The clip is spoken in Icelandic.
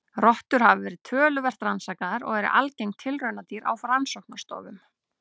Rottur hafa verið töluvert rannsakaðar og eru algeng tilraunadýr á rannsóknastofum.